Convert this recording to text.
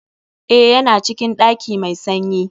Eh, Ya na cikin ɗaki mai sanyi.